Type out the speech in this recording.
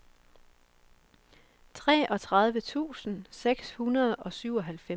treogtredive tusind seks hundrede og syvoghalvfems